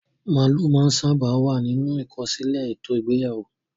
Màálù máa ń sábà wà nínú ìkọsílẹ̀ ètò ìgbéyàwó.